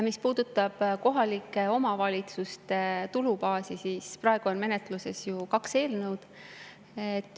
Mis puudutab kohalike omavalitsuste tulubaasi, siis praegu on menetluses kaks eelnõu.